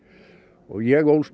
ég ólst